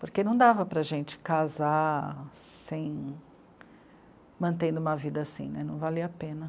Porque não dava para a gente casar sem... mantendo uma vida assim, né, não valia a pena.